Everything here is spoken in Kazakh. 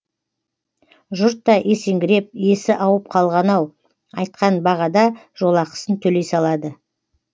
жұрт та есеңгіреп есі ауып қалған ау айтқан бағада жолақысын төлей салады